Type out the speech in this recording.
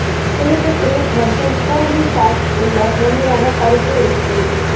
புளிப்பு கிரீம் மற்றும் பூண்டு சாஸ் உள்ள மென்மையான கறுப்பு ரெசிபி